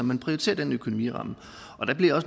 man prioriterer den økonomiramme